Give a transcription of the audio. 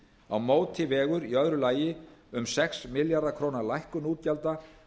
á móti vegur í öðru lagi um sex milljarða króna lækkun útgjalda